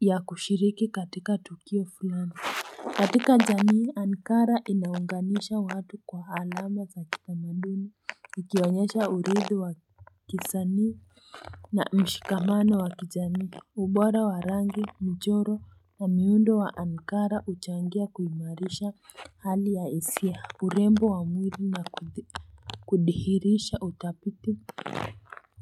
ya kushiriki katika Tukio fulano katika jamii Ankara inaunganisha watu kwa alama za kitamaduni Ikionyesha uridhi wa kizanii na mshikamano wa kijanii ubora wa rangi mjoro na miundo wa Ankara uchangia kuimarisha hali ya isia urembo wa mwiri na kudihirisha utapiti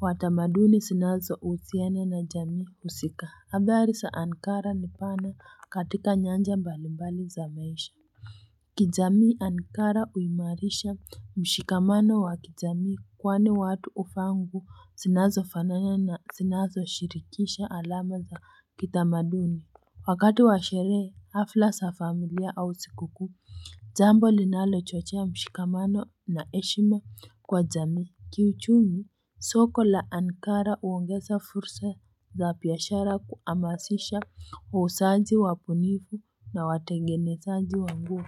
Watamaduni sinazousiana na jamii usika habari za Ankara ni pana katika nyanja mbalimbali za maisha kijami Ankara uimarisha mshikamano wa kijami kwani watu uvaa nguo sinazofanana na sinazoshirikisha alama za kitamaduni Wakati wa sherehe hafla za familia au sikuku jambo linalochochea mshikamano na eshima kwa jami Kiuchumi soko la Ankara uongesa fursa za piyashara kuamasisha wa usaji wapunivu na watengenesaaji wangu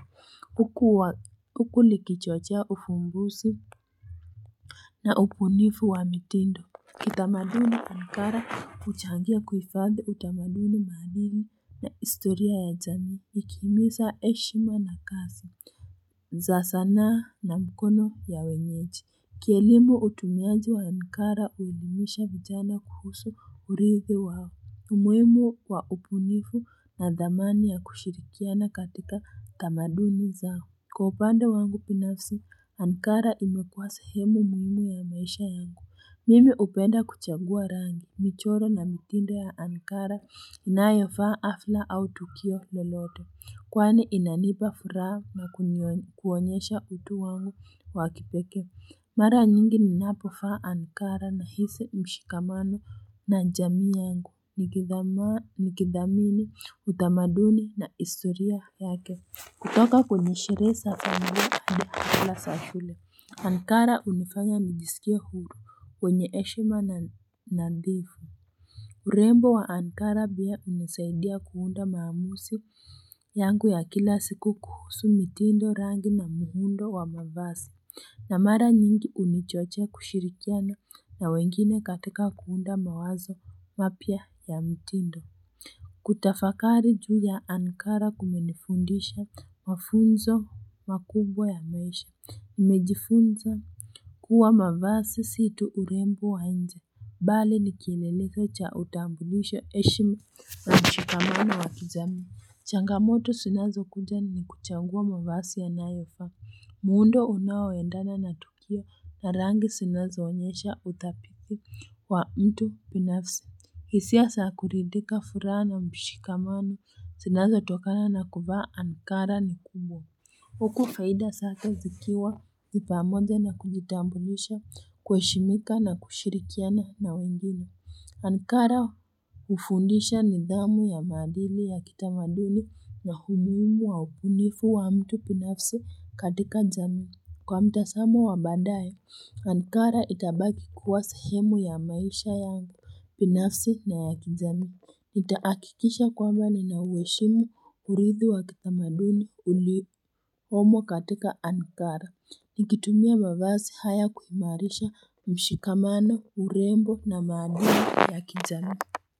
huku likichochia ufungusi na upunifu wa mitindo kitamaduni ankara uchangia kuifadhi utamaduni mahalimi na istoria ya jamii ikihimisa eshima na kazi za sanaa na mkono ya wenyeji kielimu utumiaji wa ankara uudimisha vijana kuhusu urithi wao umwemo wa upunifu na dhamani ya kushirikiana katika utamaduni zao Kwa upande wangu pinafsi, Ankara imekuwa sehemu muhimu ya maisha yangu. Mimi upenda kuchagua rangi. Michoro na mitindo ya Ankara inayofa afla au tukio melote. Kwani inanipa furaha na kuonyesha utu wangu wakipeke. Mara nyingi ninapovaa Ankara nahisi mshikamano na jami yangu. Nikithamini, utamaduni na istoria yake. Kutoka kwenye sherehe za familia hadi hala sashule. Ankara unifanya nijisikie huru wenye eshima na nadhifu. Urembo wa Ankara pia unisaidia kuunda maamusi yangu ya kila siku kuhusu mitindo rangi na muhundo wa mavasi. Na mara nyingi unichochea kushirikiana na wengine katika kuunda mawazo mapya ya mitindo. Kutafakari juu ya Ankara kumenifundisha Mafunzo makubwa ya maisha nimejifunza kuwa mavasi situ urembo wa nje Bali nikielelezo cha utambulisho eshima na mshikamano wa kijamii Changamoto sinazo kunja ni kuchangua mavasi ya nayofaa muundo unaoendana na tukio na rangi sinazo onyesha utapiko wa mtu binafsi hisia saa kuridhika furaha na mshikamano Sinazo tokana na kuvaa Ankara ni kubwa Huku faida sake zikiwa ni pamoja na kujitambulisha kueshimika na kushirikiana na wengine Ankara ufundisha nidhamu ya maadili ya kitamaduni na umuhimu wa ubunifu wa mtu binafsi katika jamii Kwa mtasamo wa baadaye, Ankara itabaki kuwa sehemu ya maisha yangu binafsi na ya kijamii Nitaakikisha kwamba ninaueshimu uridhi wa kitamaduni uli homo katika Ankara Nikitumia mavasi haya kuimarisha mshikamano urembo na maadili ya kijamii.